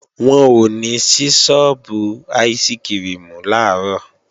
Wọn ò ní sí sọ́ọ́bù áìsikirimù làárọ̀